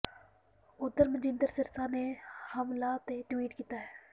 ਉਧਰ ਮਨਜਿੰਦਰ ਸਿਰਸਾ ਨੇ ਹਮਲਾ ਤੇ ਟਵੀਟ ਕੀਤਾ ਹੈ